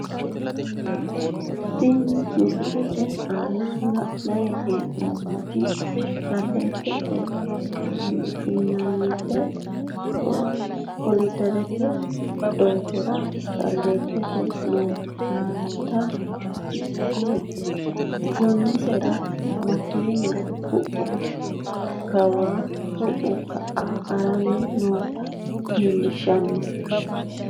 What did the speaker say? Tini misilete aana la`nani heenomoti shaleetete yinanit koliderete doogora shaliyi titani nootinna gonesera makeena ku`u kawa ku`u ka`a harani noota leelishano.